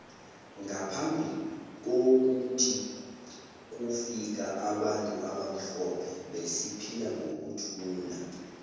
ngaphambi kwokuthi kufika abantu abamhlophe besiphila ngokuthula